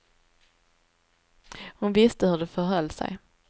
Hon visste hur det förhöll sig.